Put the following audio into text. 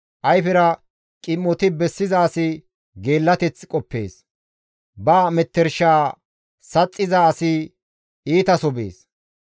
Ayfera qim7oti bessiza asi geellateth qoppees; ba mettershaa saxxiza asi iitaso bees.